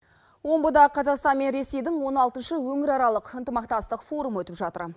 омбыда қазақстан мен ресейдің он алтыншы өңіраралық ынтымақтастық форумы өтіп жатыр